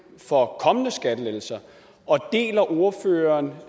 for kommende skattelettelser og deler ordføreren